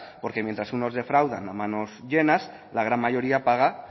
porque mientras unos defraudan a manos llenas la gran mayoría paga